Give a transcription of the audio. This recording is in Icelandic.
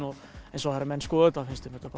en svo þegar menn skoða þetta finnst þeim þetta